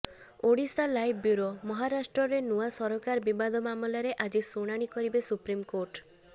Odisha live bureau ମହାରାଷ୍ଟ୍ରରେ ନୂଆ ସରାକର ବିବାଦ ମାମଲାର ଆଜି ଶୁଣାଣି କରିବେ ସୁପ୍ରିମ୍କୋର୍ଟ